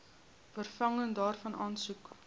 vervanging daarvan aansoek